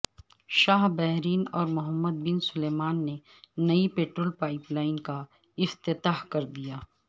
شاہ Bahrain اور Muhammad bin Salman نے نئی پٹرول پائپ لائن کا افتتاح کر دیا